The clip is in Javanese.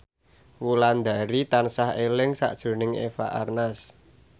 Wulandari tansah eling sakjroning Eva Arnaz